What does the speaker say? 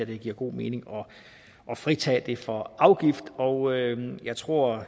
det giver god mening at fritage det for afgift og jeg tror at